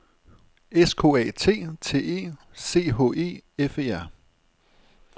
S K A T T E C H E F E R